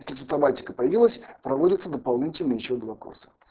автоматика появилась проводятся дополнительные ещё два курса